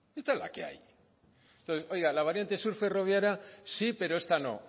esta es la que hay entonces la variante sur ferroviaria sí pero esta no